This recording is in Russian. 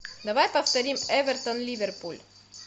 давай повторим эвертон ливерпуль